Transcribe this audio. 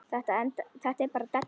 Þetta er bara della.